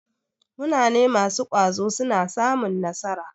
Munane masu ƙwazo suna samun nasara.